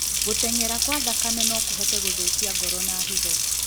Gũteng'era kwa thakame nokũhote gũthũkia ngoro na higo